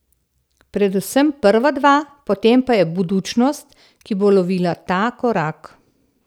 Predvsem prva dva, potem pa je Budućnost, ki bo lovila ta korak.